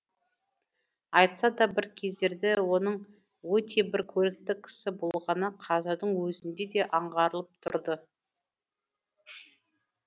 айтса да бір кездерде оның өте бір көрікті кісі болғаны қазірдің өзінде де аңғарылып тұрды